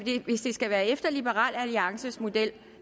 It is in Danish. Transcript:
hvis det skal være efter liberal alliances model